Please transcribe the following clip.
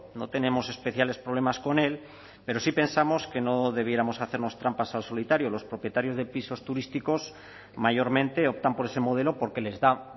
no tenemos especiales problemas con el pero sí pensamos que no debiéramos hacernos trampas al solitario los propietarios de pisos turísticos mayormente optan por ese modelo porque les da